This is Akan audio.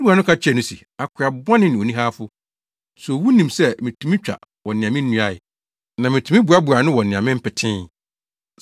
“Ne wura no ka kyerɛɛ no se, ‘Akoa bɔne ne onihawfo! So wunim sɛ mitumi twa wɔ nea minnuae, na mitumi boaboa ano wɔ nea mempetee?